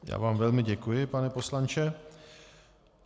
Já vám velmi děkuji, pane poslanče.